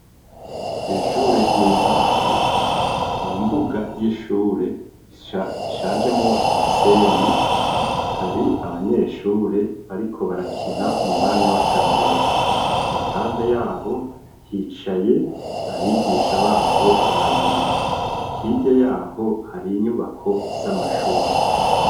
Kw'ishure ry'intango, mu mbuga y'ishure, ishanjemwo umusenyi; hari abanyeshure, bariko barakina, mu mwanya w'akaruhuko; iruhande y'abo, hicaye abigisha babo, babiri; hirya y'aho, hari inyubako z'amashuri.